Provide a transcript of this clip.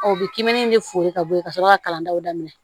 u bɛ kiminin de fori ka bɔ yen ka sɔrɔ ka kalandenw daminɛ